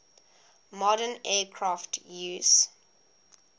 modern aircraft use